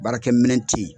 Baarakɛminɛn ti ye